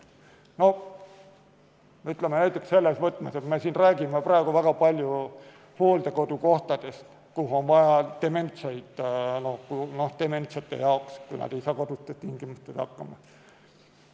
Ütleme näiteks selles võtmes, et me räägime praegu väga palju hooldekodukohtadest, kuhu on vaja dementseid paigutada, kui nad ei saa kodustes tingimustes hakkama.